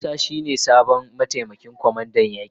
Musa shi ne sabon mataimakin kwamandan yaki.